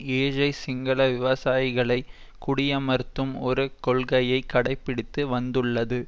ஏழை சிங்கள விவசாயிகளை குடியமர்த்தும் ஒரு கொள்கையை கடைப்படித்து வந்துள்ளது